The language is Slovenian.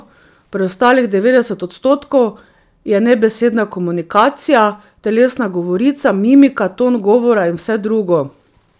Preostalih devetdeset odstotkov je nebesedna komunikacija, telesna govorica, mimika, ton govora in vse drugo.